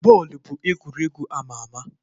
Bọọlụ bụ egwuregwu ama ama.